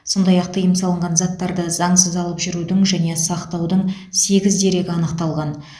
сондай ақ тыйым салынған заттарды заңсыз алып жүрудің және сақтаудың сегіз дерегі анықталған